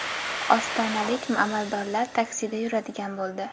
Ostonalik amaldorlar taksida yuradigan bo‘ldi.